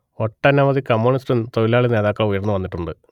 ഒട്ടനവധി കമ്യൂണിസ്റ്റ് തൊഴിലാളി നേതാക്കൾ ഉയർന്നു വന്നിട്ടുണ്ട്